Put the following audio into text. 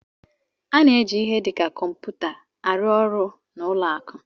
A na-eji ihe dị ka kọmputa arụ ọrụ n'ụlọ akụ